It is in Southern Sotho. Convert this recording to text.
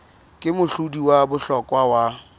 ke mohlodi wa bohlokwa wa